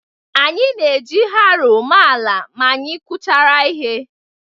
Anyị na-eji haroo mee ala ma anyị kụchara ihe.